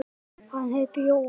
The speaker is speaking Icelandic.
Hann heitir Jóhann